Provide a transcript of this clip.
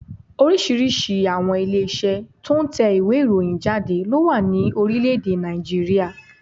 Oríṣìíríṣìí àwọn ilé Iṣẹ́ tó n tẹ ìwé ìròyìn jáde ló wà ní Orílẹ̀dè Nàìjíríà